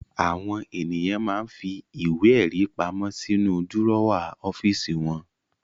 Àwọn ènìyàn máa ń fi ìwé-ẹ̀rí pamọ́ sínú dúrọ́à ọ́fíísì wọn.